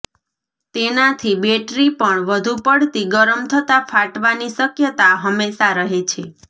તેનાંથી battery પણ વધુ પડતી ગરમ થતાં ફાટવાની શકયતા હંમેશા રહે છે